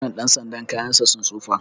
wannan ɗan sanda kayansa sun tsufa